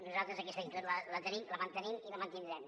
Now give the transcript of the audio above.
nosaltres aquesta actitud la tenim la mantenim i la mantindrem